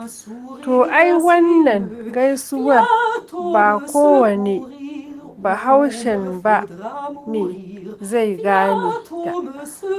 To ai wannan gaisuwar ba kowane bahaushen ba ne zai gane ta.